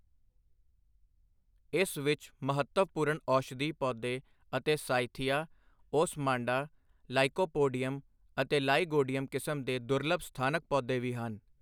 ਇਸ ਵਿੱਚ ਮਹੱਤਵਪੂਰਨ ਔਸ਼ਧੀ ਪੌਦੇ ਅਤੇ ਸਾਇਥੀਆ, ਓਸਮਾਂਡਾ, ਲਾਈਕੋਪੋਡੀਅਮ ਅਤੇ ਲਾਈਗੋਡੀਅਮ ਕਿਸਮ ਦੇ ਦੁਰਲੱਭ ਸਥਾਨਕ ਪੌਦੇ ਵੀ ਹਨ।